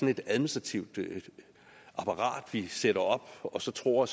et administrativt apparat vi sætter op og så tror